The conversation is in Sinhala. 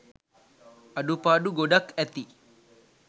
අඩුපාඩු ගොඩක් ඇති.